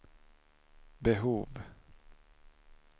behov